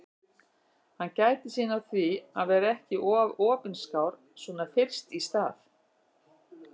Hann gætir sín á því að vera ekki of opinskár svona fyrst í stað.